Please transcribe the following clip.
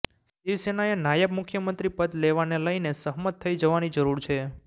શિવસેનાએ નાયબ મુખ્યમંત્રી પદ લેવાને લઇને સહમત થઇ જવાની જરૂર છે